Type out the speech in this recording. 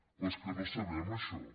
però és que no sabem això